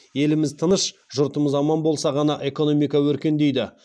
еліміз тыныш жұртымыз аман болса ғана экономика өркендейді